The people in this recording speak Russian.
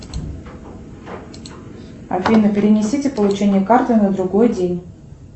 афина перенесите получение карты на другой день